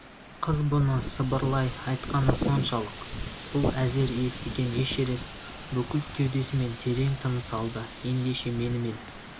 қыз бұны сыбырлай айтқаны соншалық бұл әзер естіген эшерест бүкіл кеудесімен терең тыныс алды ендеше менімен